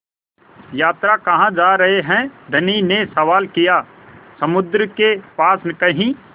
यात्रा कहाँ जा रहे हैं धनी ने सवाल किया समुद्र के पास कहीं